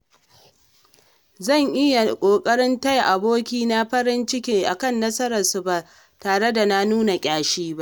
Zan yi ƙoƙarin taya abokai na farin ciki akan nasarar su ba tare da nuna ƙyashi ba.